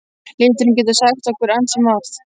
Liturinn getur sagt okkur ansi margt.